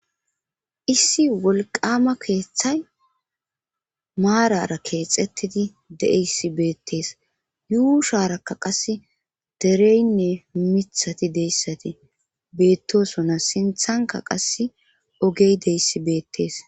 issi wolqama keeththay maarara keexettidi de7eyssi beettees yuusharakka qasse dereynne mithati deyssati beettosona sinthanka qase ogey deyssi beettees